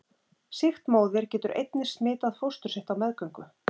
Sýkt móðir getur einnig smitað fóstur sitt á meðgöngu.